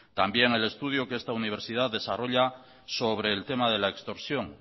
también el estudio que esta universidad desarrolla sobre el tema de la extorsión